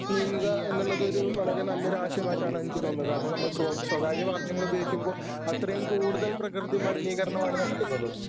നീങ്ങുക എന്നുള്ളതൊരു വളരെ നല്ലൊരു ആശയമായിട്ടാണ് എനിക്ക് തോന്നുന്നത് കാരണം നമ്മൾ സ്വ സ്വകാര്യവാഹനങ്ങളുപയോഗിക്കുമ്പോ അത്രയും കൂടുതൽ പ്രകൃതി മലിനീകരണമാണ് നടക്കുന്നത്.